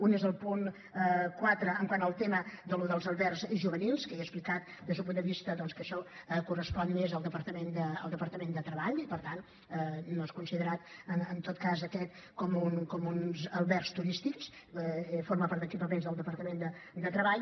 un és el punt quatre quant al tema dels albergs juvenils que ja he explicat doncs que això correspon més al departament de treball i per tant no són considerats en tot cas aquests com uns albergs turístics formen part d’equipaments del departament de treball